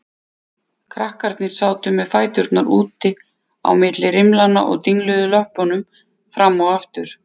Krakkarnir sátu með fæturna út á milli rimlanna og dingluðu löppunum fram og aftur.